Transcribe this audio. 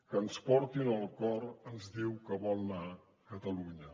que ens porti on el cor ens diu que vol anar catalunya